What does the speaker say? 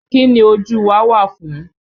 Kín ni ojú wa wà fún?